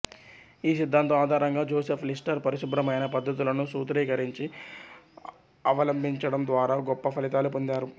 ఈ సిద్దాంతం ఆధారంగా జోసెఫ్ లిస్టర్ పరిశుభ్రమైన పద్ధతులను సూత్రీకరించి అవలంబించడం ద్వారా గొప్ప ఫలితాలు పొందారు